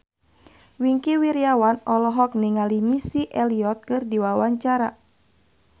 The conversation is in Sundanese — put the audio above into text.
Wingky Wiryawan olohok ningali Missy Elliott keur diwawancara